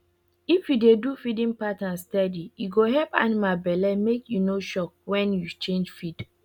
if you dey do feeding pattern steady e go help animal belle make e no shock when you change feed